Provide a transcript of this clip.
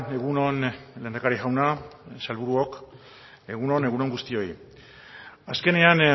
egun on lehendakari jauna sailburuok egun on egun on guztioi azkenean